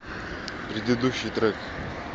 предыдущий трек